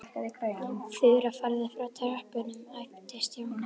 Þura, farðu frá tröppunum æpti Stjáni.